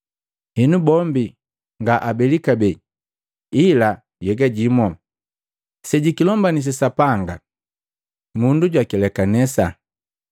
Henu bombi nga abeli kabee ila nhyega jimu. Sejukilombangini Sapanga, Mundu jwaakilekanisa.”